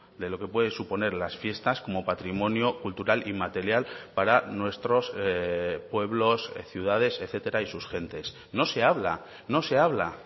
de lo que puede suponer las fiestas como patrimonio cultural inmaterial para nuestros pueblos ciudades etcétera y sus gentes no se habla no se habla